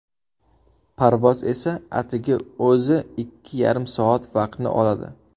Parvoz esa atigi o‘zi ikki yarim soat vaqtni oladi.